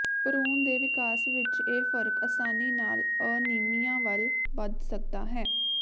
ਭਰੂਣ ਦੇ ਵਿਕਾਸ ਵਿੱਚ ਇਹ ਫਰਕ ਆਸਾਨੀ ਨਾਲ ਅਨੀਮੀਆ ਵੱਲ ਵਧ ਸਕਦਾ ਹੈ